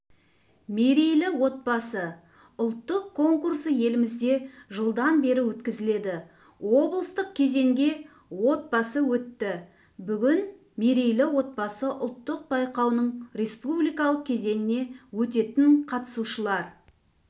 мерейлі отбасы ұлттық конкурсы елімізде жылдан бері өткізіледі облыстық кезеңге отбасы өтті бүгін мерейлі отбасы ұлттық байқауының республикалық кезеңіне өтетін қатысушылар